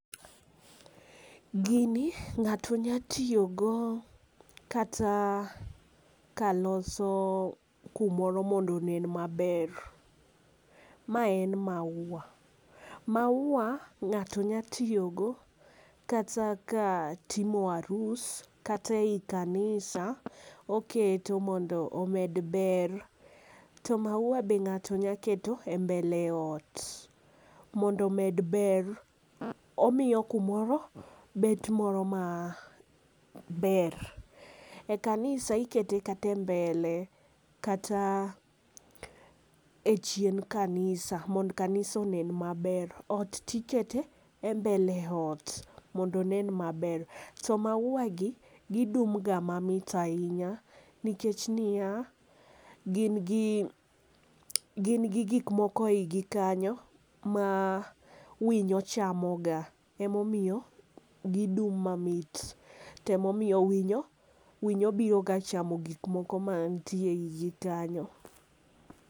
Gini ng'ato nya tiyo go kata ka loso gi moro mondo onen ma ber,. Ma en mauwa . Mauwa ng'ato nya tiyo go kata ka timo arus, kata i kanisa oketo mondo omed ber. To mauwa be ng'ato nya keto e mbele ot mondo omed ber , omiyo kumoro bet moro ma ber. E kanisa ikete kata e mbele kata e chien kanisa mondo kanisa onen ma ber. Ot ti iketo e mbele ot mondo onen ma ber. To mauwa gi gi dum ga mamit ainya nikech ni ya, gin gi gin gi gik moko ei gi kanyo ma winyo chamo ga ema omiyo gi dum ma mit. To ema omiyo winyo, winyo biro ga chamo gik moko mantie e i gi kanyo.